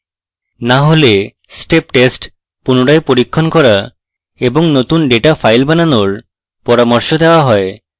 না হলে step test পুনরায় পরীক্ষণ করা এবং নতুন ডেটা file বানানোর পরামর্শ দেওয়া হয়